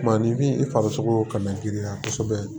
ni bin i farisogo kana girinya kosɛbɛ